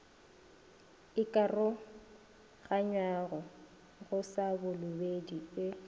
ikaroganyago go sa balobedu e